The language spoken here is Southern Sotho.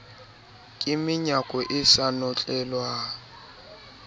ka menyako e sa notlelwang